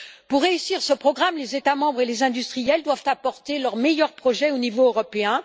Pour réussir ce programme, les États membres et les industriels doivent apporter leurs meilleurs projets au niveau européen.